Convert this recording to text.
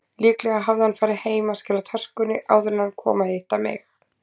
Líklega hafði hann farið heim að skila töskunni áður en hann kom að hitta mig.